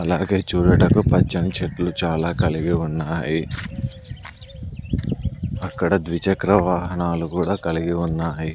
అలాగే చూడటకు పచ్చని చెట్లు చాలా కలిగి ఉన్నాయి అక్కడ ద్విచక్ర వాహనాలు కూడా కలిగి ఉన్నాయి.